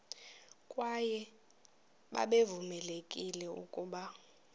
kwaye babevamelekile ukuba